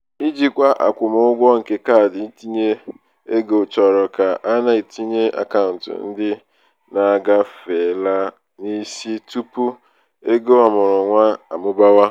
ijikwa akwụmụgwọ nke kaadị ntinyeego chọrọ ka a na-etinye akaụntụ ndị na-agafeela n'isi tupu ego ọmụrụnwa um amụbawa.